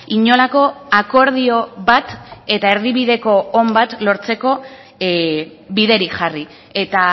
inolako akordio bat eta erdibideko on bat lortzeko biderik jarri eta